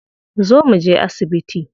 Zo mu je asibiti.